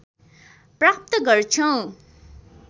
प्राप्त गर्छौं